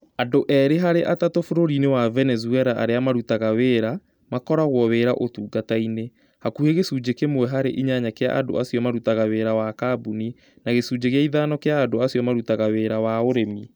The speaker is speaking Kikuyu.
Andũ erĩ harĩ atatũ bũrũri-inĩ wa Venezuela arĩa marutaga wĩra, makoragwo wira ũtungata-inĩ, hakuhĩ gĩcunjĩ kĩmwe harĩ inya gĩa andũ acio marutaga wĩra wa kambuni, na gĩcunjĩ gĩa ithano kĩa andũ acio marutaga wĩra wa ũrĩmi.